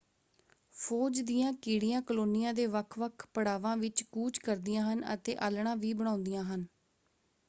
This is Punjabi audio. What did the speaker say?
ਫੌਜ ਦੀਆਂ ਕੀੜੀਆਂ ਕਲੋਨੀਆਂ ਦੇ ਵੱਖ-ਵੱਖ ਪੜਾਵਾਂ ਵਿੱਚ ਕੂਚ ਕਰਦੀਆਂ ਹਨ ਅਤੇ ਆਲ੍ਹਣਾ ਵੀ ਬਣਾਉਂਦੀਆਂ ਹਨ।